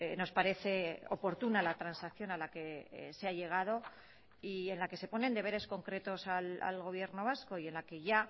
nos parece oportuna la transacción a la que se ha llegado y en la que se ponen deberes concretos al gobierno vasco y en la que ya